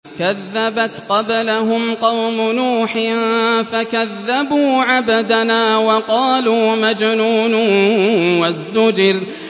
۞ كَذَّبَتْ قَبْلَهُمْ قَوْمُ نُوحٍ فَكَذَّبُوا عَبْدَنَا وَقَالُوا مَجْنُونٌ وَازْدُجِرَ